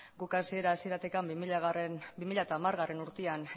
guk hasiera hasieratik bi mila hamargarrena urtean